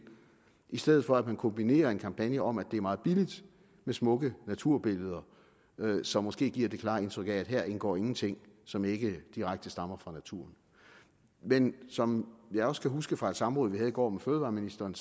i stedet for at man kombinerer en kampagne om at det er meget billigt med smukke naturbilleder som måske giver det klare indtryk at her indgår ingenting som ikke direkte stammer fra naturen men som jeg også kan huske fra et samråd vi havde i går med fødevareministeren